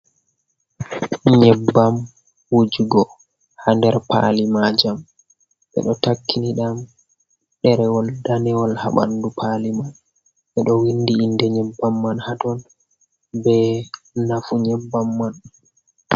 Nyebbam wujugo ha nder pali majam ɓe ɗo takkini ɗam ɗerewol danewol ha ɓandu pali man. Ɓe ɗo windi inde nyebbam man haton be nafu nyebbam man.